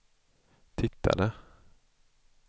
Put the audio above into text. tittade